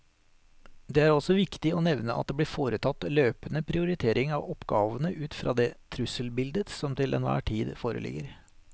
Det er også viktig å nevne at det blir foretatt løpende prioritering av oppgavene ut fra det trusselbildet som til enhver tid foreligger.